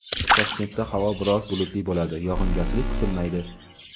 Toshkentda havo biroz bulutli bo‘ladi, yog‘ingarchilik kutilmaydi.